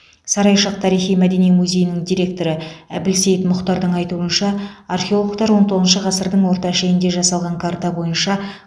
сарайшық тарихи мәдени музейінің директоры әбілсейт мұхтардың айтуынша археологтар он тоғызыншы ғасырдың орта шенінде жасалған карта бойынша